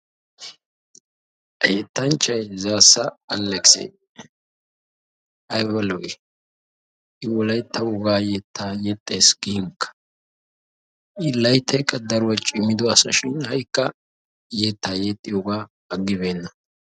Ha yettanchchay Zaassa Alekisee ayba lo'ii? Wolaytta wogaa yettaa yexxees ginkka! I layttaykka cimido asashin ha"ikka yettaa yexxiyogaa aggibeenna.